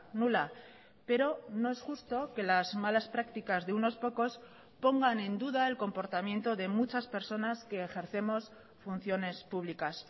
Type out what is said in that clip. nula pero no es justo que las malas prácticas de unos pocos pongan en duda el comportamiento de muchas personas que ejercemos funciones públicas